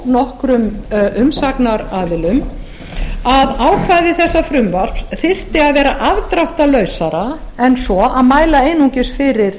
nokkrum umsagnaraðilum að ákvæði þessa frumvarps þyrfti að vera afdráttarlausara en svo að mæla einungis fyrir